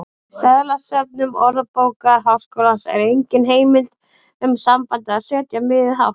Í seðlasöfnum Orðabókar Háskólans er engin heimild um sambandið að setja miðið hátt.